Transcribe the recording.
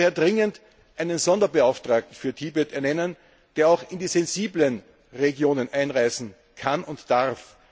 Wir müssen daher dringend einen Sonderbeauftragten für Tibet ernennen, der auch in die sensiblen Regionen einreisen kann und darf.